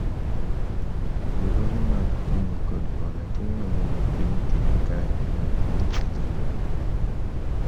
riwruoge mag kungo kod hola timo maber e piny Kenya kae moloyo piny Tanzania